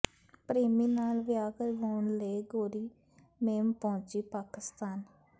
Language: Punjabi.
ਪ੍ਰੇਮੀ ਨਾਲ ਵਿਆਹ ਕਰਵਾਉਣ ਲਈ ਗੋਰੀ ਮੇਮ ਪਹੁੰਚੀ ਪਾਕਿਸਤਾਨ